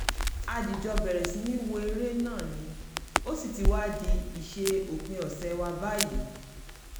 a dìjọ̣ bẹ̀rẹ̀ sí ní wo eré náà ní ó sì ti wá di ìṣe òpin ọ̀sẹ̀ wa báyìí